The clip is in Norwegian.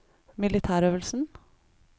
militærøvelsen